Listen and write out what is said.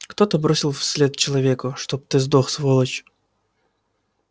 кто-то бросил вслед человеку чтоб ты сдох сволочь